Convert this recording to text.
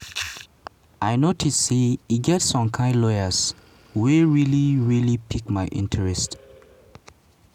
"i notice say e get some kain lawyers wey really really pick my interest.